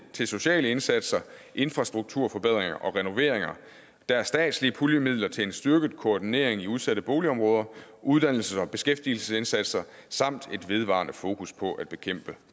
til sociale indsatser infrastrukturforbedringer og renoveringer der er statslige puljemidler til en styrket koordinering i udsatte boligområder uddannelse og beskæftigelsesindsatser samt et vedvarende fokus på at bekæmpe